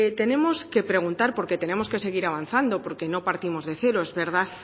tenemos que preguntar porque tenemos que seguir avanzando porque no partimos de cero es verdad